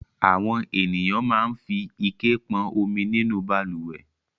Àwọn ènìyàn máa ń fi ike pọn omi nínú balùwẹ̀.